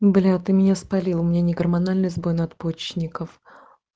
а ты меня спалила меня не гормональный сбой надпочечников